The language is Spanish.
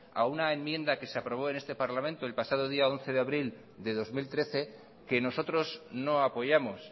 a una enmienda que se aprobó en este parlamento el pasado once de abril del dos mil trece que nosotros no apoyamos